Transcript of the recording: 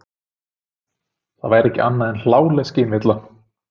Það væri ekki annað en hláleg skynvilla.